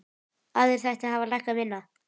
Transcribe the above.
Aðrir þættir hafa lækkað minna.